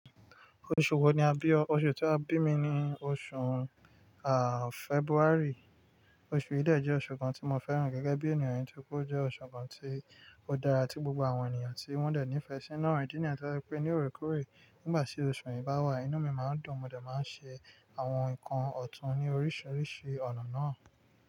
Oṣù wo ni a bí ọ? Oṣù tí a bí mi ni oṣù, February. Oṣù yìí dẹ̀ jẹ́ oṣù kan tí mo fẹ́ràn gẹ́gẹ́ bí ènìyàn nítorí ó jẹ́ oṣù kan tí ó dára tí gbogbo àwọn ènìyàn tí wọ́n dẹ̀ ní ìfẹ́ síi idi ní yi tó jẹ́ pe ní òòrèkóòrè Nígbà tí oṣù yìí bá wà, inú mi máa ń dùn, mo dà máa ń ṣe àwọn nǹkan ọ̀tún ní oríṣiríṣi ọ̀nà náà.